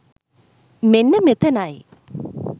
මෙන්න මෙතනයි.